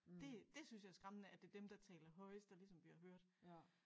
Det det synes jeg er skræmmende at det dem der taler højest der ligesom bliver hørt